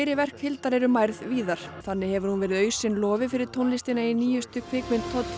verk Hildar eru mærð víðar þannig hefur hún verið lofi fyrir tónlistina í nýjustu kvikmynd